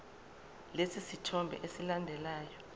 lesi sithombe esilandelayo